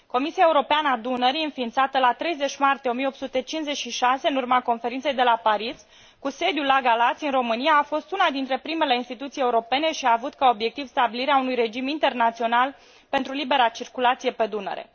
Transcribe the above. Comisia Europeană a Dunării, înființată la 30 martie 1856 în urma Conferinței de la Paris, cu sediul la Galați, în România, a fost una dintre primele instituții europene și a avut ca obiectiv stabilirea unui regim internațional pentru libera circulație pe Dunăre.